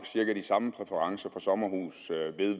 cirka de samme præferencer sommerhus